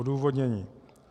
Odůvodnění.